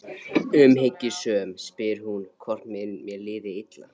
Umhyggjusöm spyr hún hvort mér líði illa.